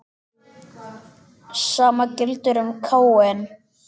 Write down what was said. Sama gildir um Káin.